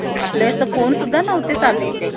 अं या गोष्टी चा effect त्यांचा life वर पडत असतो